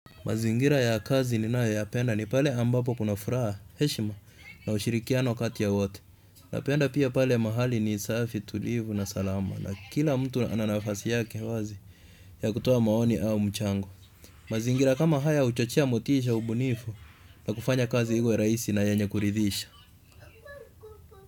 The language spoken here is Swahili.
Mazingira ya kazi ni nayo ya penda ni pale ambapo kuna furaha, heshima na ushirikiano katiya watu. Na penda pia pale mahali ni safi tulivu na salama na kila mtu ananafasi yake wazi ya kutoa maoni au mchango. Mazingira kama haya huchochea motisha ubunifu na kufanya kazi iwe rahisi na yenye kuridhisha.